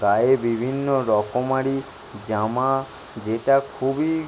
গায়ে বিভিন্ন রকমারি জামা-আ যেটা খুবই।